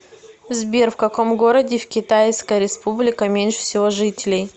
сбер в каком городе в китайская республика меньше всего жителей